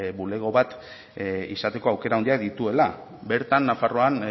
bulego bat izateko aukera handiak dituela bertan nafarroan